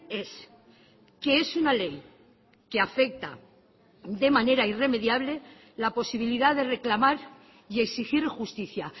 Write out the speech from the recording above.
es que es una ley que afecta de manera irremediable la posibilidad de reclamar y exigir justicia